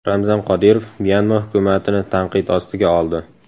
Ramzan Qodirov Myanma hukumatini tanqid ostiga oldi.